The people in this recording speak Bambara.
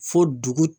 Fo dugu